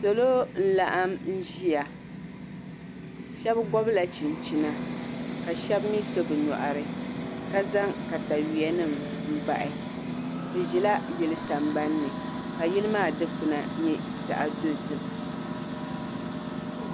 Salo n laɣam ʒiya shan gobla chinchina ka shab mii so bi nyoɣari ka zaŋ katawiya nim n bahi bi ʒila yili sambanni ka yili maa dikpuna nyɛ zaɣ dozim